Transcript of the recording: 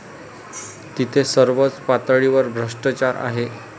तिथे सर्वच पातळीवर भ्रष्टाचार आहे.